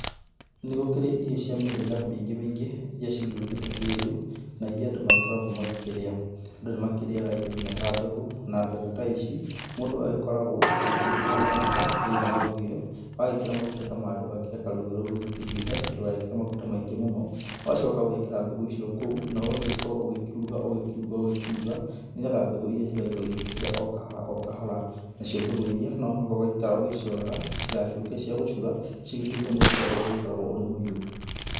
Nĩgũkĩrĩ irio cia mĩhĩrĩga mĩingĩ mĩingĩ iria cigĩũkĩte kĩrĩu na iria andũ makoragwo magĩkĩrĩa. Andũ nĩmakĩrĩyaga nginya indo ta mbegũ na mbegũ ta ici mũndũ agĩkoragwo ũgĩgĩkĩra maguta thĩinĩ wa rũgĩo, wagĩkĩra maguta ta marĩa ũgagĩkĩreka rũgĩo rũu rũgĩkĩhiũhe na ndugagĩkĩre maguta maingĩ mũno. Ũgacoka ũgekĩra mbegũ icio kũu na ũgagĩkorwo ũgĩkĩuruga ũgĩkĩuruga ũgĩkĩuruga nĩgetha mbegũ iria igagĩkorwo ikĩhĩa okahora okahora. Nacio mbegũ iria no nginya ũgaikaraga ũgĩciroraga nĩgetha citigagĩtuĩke cia gũcura cigĩtuĩke mũcura ũrĩa ũgĩkoragwo ũrĩ mũirũ.